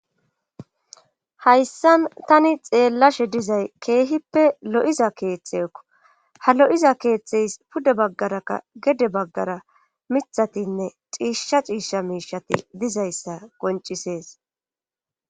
hayssan tani xeellashe dizay keehippe lo7iza keeththeekko ha lo7iza keeththeys pude baggarakka gede baggara mithatinne xiisha ciisha miishati dizayssa goncisees